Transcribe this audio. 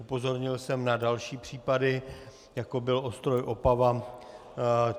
Upozornil jsem na další případy, jako byl Ostroj Opava.